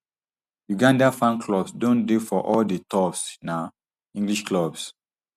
uganda fan clubs don dey for all di top um english clubs